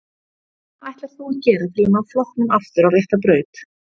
Hvað ætlar þú að gera til að ná flokknum aftur á rétta braut?